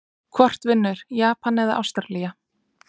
Hvort vinnur Japan eða Ástralía???